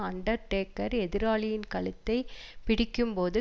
under taker எதிராளியின் கழுத்தைப் பிடிக்கும் போது